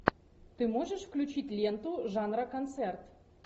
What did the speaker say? ты можешь включить ленту жанра концерт